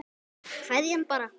Kveðja hann bara.